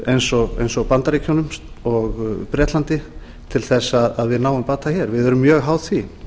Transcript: eins og bandaríkjunum og bretlandi til að við náum bata hér við erum mjög háð því